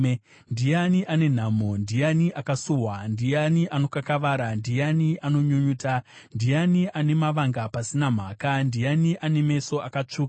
Ndiani ane nhamo? Ndiani akasuwa? Ndiani anokakavara? Ndiani anonyunyuta? Ndiani ane mavanga pasina mhaka? Ndiani ane meso akatsvuka?